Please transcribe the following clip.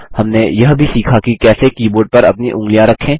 हमने यह भी सीखा कि कैसे कीबोर्ड पर अपनी उँगलियाँ रखें